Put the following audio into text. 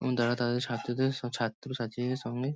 এবং তারা তাদের ছাত্রদের স ছাত্রছাত্রীদের সঙ্গে--